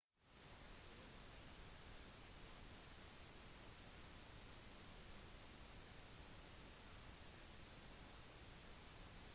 solen har ikke en skorpe til å stå på slik som jorden hele solen består av gass flammer og plasma